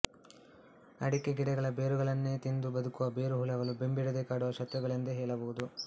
ಅಡಕೆ ಗಿಡಗಳ ಬೇರುಗಳನ್ನೇ ತಿಂದು ಬದುಕುವ ಬೇರುಹುಳಗಳು ಬೆಂಬಿಡದೇ ಕಾಡುವ ಶತ್ರುಗಳೆಂದೇ ಹೇಳಬಹುದು